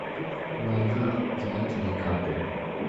найди звоните дикаприо